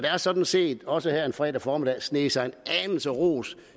har sådan set også denne fredag formiddag sneget sig en anelse ros